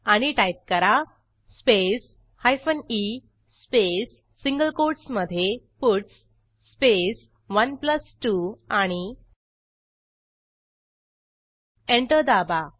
आणि टाईप करा space hyphen e space single कोटसमधे पट्स स्पेस 12 आणि एंटर दाबा